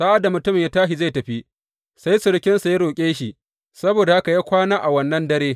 Sa’ad da mutumin ya tashi zai tafi, sai surukinsa ya roƙe shi, saboda haka ya kwana a wannan dare.